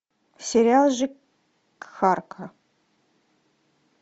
сериал жихарка